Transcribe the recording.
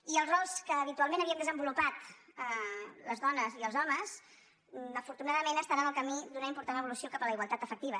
i els rols que ha·bitualment havíem desenvolupat les dones i els homes afortunadament estan en el camí d’una important evo·lució cap a la igualtat efectiva